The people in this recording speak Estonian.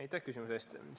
Aitäh küsimuse eest!